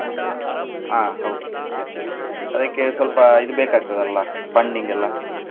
ಹಾ ಹೌದು ಅದಕ್ಕೆ ಸ್ವಲ್ಪ ಇದು ಬೇಕಾಗ್ತದಲ್ಲ funding ಎಲ್ಲಾ.